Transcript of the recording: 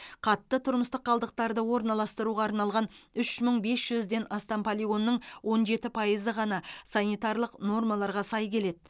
қатты тұрмыстық қалдықтарды орналастыруға арналған үш мың бес жүзден астам полигонның он жеті пайызы ғана санитарлық нормаларға сай келеді